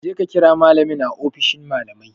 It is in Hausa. Kaje ka kira malamin a ofishin malamai